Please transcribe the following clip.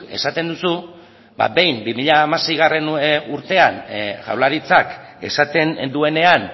esaten duzu ba behin bi mila hamaseigarrena urtean jaurlaritzak esaten duenean